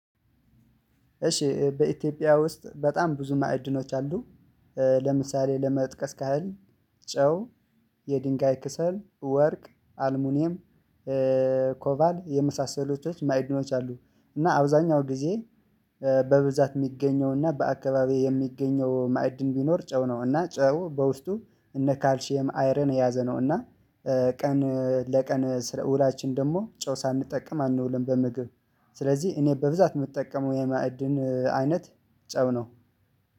እሺ በኢትዮጵያ ውስጥ በጣም ብዙ ማዕድኖች አሉ። ለምሳሌ ለመጥቀስ ካህል ጨው የድንጋይ ከሰል ወርቅ አልሙኒየም ኮቫልት የመሳሰሉ ማዕድኖች አሉ። እና አብዛኛው ጊዜ በብዛት የሚገኘው እና በአካባቢው የሚገኘው ማዕድን ቢኖር ጨው ነው። እና ጨው በውስጡ እነ ካልሺየም አይረን የያዘ ነው። እና ቀን ለቀን ውላችን ደግሞ ጨው ሳንጠቀም አንውልም። በምግብ ስለዚህ እኔ በብዛት የምጠቀመው የማዕድን አይነት ጨው ነው።